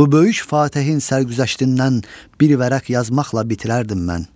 bu böyük fatehin sərgüzəştindən bir vərəq yazmaqla bitirərdim mən.